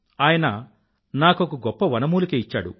ఆయన నాకొక గొప్ప వనమూలిక ఇచ్చాడు